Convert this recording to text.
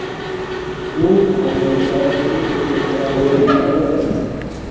"Bu Amerika tarixidagi eng katta mag‘lubiyatlardan biri".